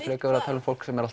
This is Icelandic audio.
frekar að tala um fólk sem er